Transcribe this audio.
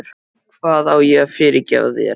Hvað á ég að fyrirgefa þér?